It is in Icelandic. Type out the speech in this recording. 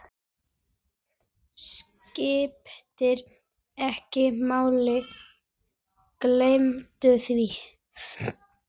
Skiptir ekki máli, gleymdu því.